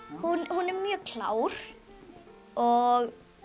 hún er mjög klár og